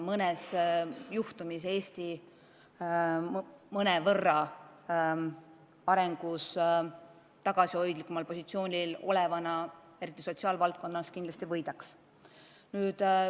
Mõnes valdkonnas, kus Eesti on oma arengus mõnevõrra tagasihoidlikumal positsioonil, eriti sotsiaalvaldkonnas, me kindlasti võidaks.